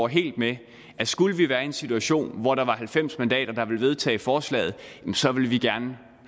helt med at skulle vi være en situation hvor der var halvfems mandater der ville vedtage forslaget så ville vi gerne